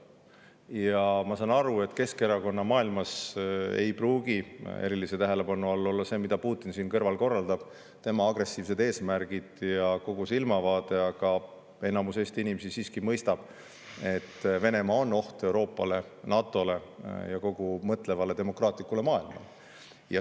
Ja ma saan aru, et Keskerakonna maailmas ei pruugi erilise tähelepanu all olla see, mida Putin siin kõrval korraldab, tema agressiivsed eesmärgid ja kogu silmavaade, aga enamus Eesti inimesi siiski mõistab, et Venemaa on oht Euroopale, NATO‑le ja tervele mõtlevale demokraatlikule maailmale.